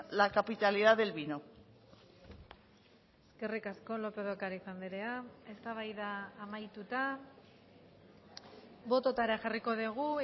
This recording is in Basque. la capitalidad del vino eskerrik asko lópez de ocariz andrea eztabaida amaituta bototara jarriko dugu